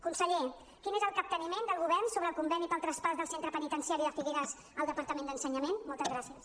conseller quin és el capteniment del govern sobre el conveni pel traspàs del centre penitenciari de figueres al departament d’ensenyament moltes gràcies